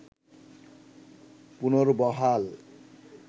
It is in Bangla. পুনর্বহাল